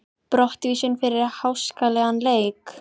Brottvísun fyrir háskalegan leik?